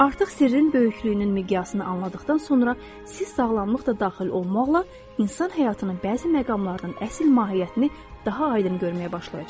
Artıq sirrin böyüklüyünün miqyasını anladıqdan sonra siz sağlamlıq da daxil olmaqla, insan həyatının bəzi məqamlarının əsl mahiyyətini daha aydın görməyə başlayacaqsınız.